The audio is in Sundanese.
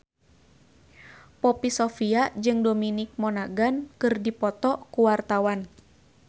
Poppy Sovia jeung Dominic Monaghan keur dipoto ku wartawan